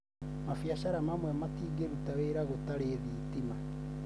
mabiacara mamwe matingĩruta wĩra gũtarĩ thitima